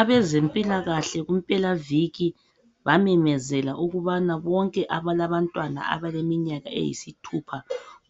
Abazempilakahle kumpelaviki bamemezela ukubana bonke abalabantwana abaleminyaka eyisithupha